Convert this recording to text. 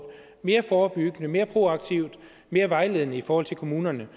mere forebyggende mere proaktivt mere vejledende i forhold til kommunerne